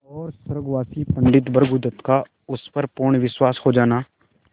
और स्वर्गवासी पंडित भृगुदत्त का उस पर पूर्ण विश्वास हो जाना